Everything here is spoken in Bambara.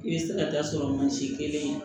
I bɛ se ka da sɔrɔ mansin kelen